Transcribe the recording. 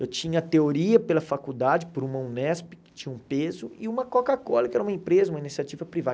Eu tinha teoria pela faculdade, por uma Unesp, que tinha um peso, e uma Coca-Cola, que era uma empresa, uma iniciativa privada.